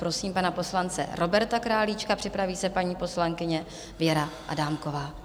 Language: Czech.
Prosím pana poslance Roberta Králíčka, připraví se paní poslankyně Věra Adámková.